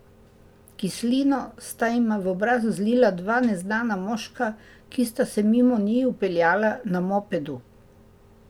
Kislino sta jima v obraz zlila dva neznana moška, ki sta se mimo njiju peljala na mopedu.